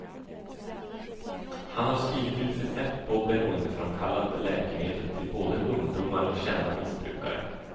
Han har skrivit ut recept på beroendeframkallande läkemedel till både ungdomar och kända missbrukare.